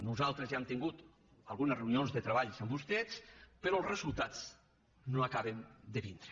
nosaltres ja hem tingut algunes reunions de treball amb vostès però els resultats no acaben de vindre